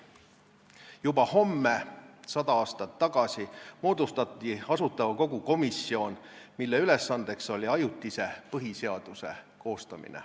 Juba homme 100 aastat tagasi moodustati Asutava Kogu komisjon, mille ülesanne oli koostada ajutine põhiseadus.